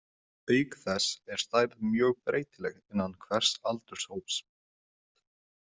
Auk þess er stærð mjög breytileg innan hvers aldurshóps.